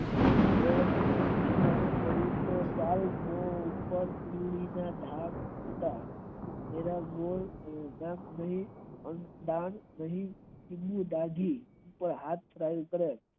ચાલુપર ધીરે હતા હાથ ચાલુ કરો